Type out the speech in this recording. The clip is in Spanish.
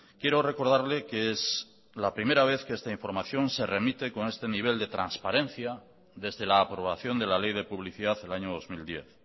quiero recordarle que es la primera vez que esta información se remite con este nivel de transparencia desde la aprobación de la ley de publicidad el año dos mil diez